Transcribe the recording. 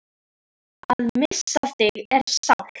Að missa þig er sárt.